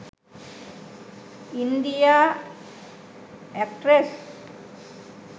india actress